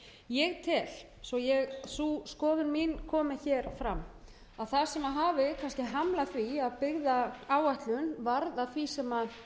því starfi ég tel svo sú skoðun mín komi fram að það sem hafi hamlað því að byggðaáætlun varð að því sem